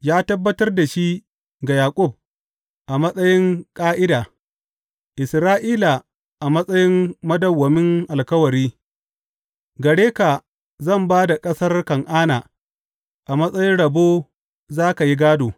Ya tabbatar da shi ga Yaƙub a matsayin ƙa’ida, Isra’ila a matsayin madawwamin alkawari, Gare ka zan ba da ƙasar Kan’ana a matsayin rabo za ka yi gādo.